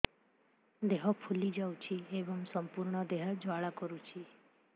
ଦେହ ଫୁଲି ଯାଉଛି ଏବଂ ସମ୍ପୂର୍ଣ୍ଣ ଦେହ ଜ୍ୱାଳା କରୁଛି